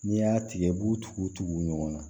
N'i y'a tigɛ i b'u tugu tugu ɲɔgɔn na